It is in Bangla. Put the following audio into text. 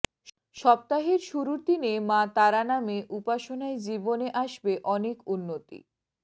সপ্তাহের শুরুর দিনে মা তারা নামে উপাসনায় জীবনে আসবে অনেক উন্নতি